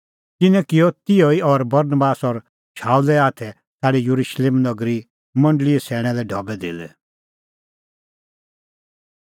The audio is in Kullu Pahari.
तिन्नैं किअ तिहअ ई और बरनबास और शाऊले हाथै छ़ाडै येरुशलेम नगरी मंडल़ीए सैणैं लै ढबैधेल्लै